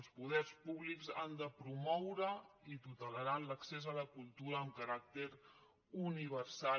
els poders públics han de promoure i tutelaran l’accés a la cultura amb caràcter universal